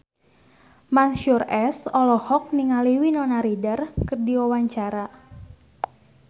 Mansyur S olohok ningali Winona Ryder keur diwawancara